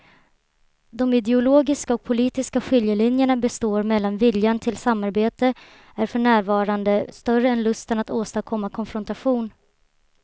De ideologiska och politiska skiljelinjerna består men viljan till samarbete är för närvarande större än lusten att åstadkomma konfrontation.